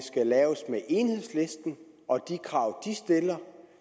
det laves med enhedslisten og de krav de stiller